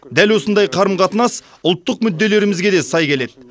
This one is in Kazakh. дәл осындай қарым қатынас ұлттық мүдделерімізге де сай келеді